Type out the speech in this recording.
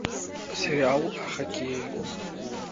сериал о хоккее